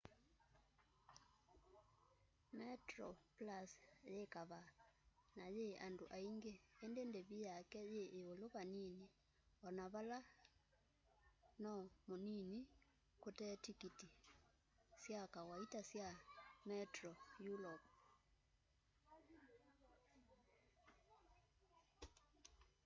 metroplus yi kavaa na yii andu aingi indi ndivi yake yi iulu va nini ona vala no munini kute tikiti sya kawaita sya metro europe